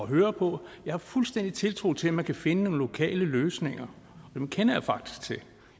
høre på jeg har fuldstændig tiltro til at man kan finde nogle lokale løsninger dem kender jeg faktisk til og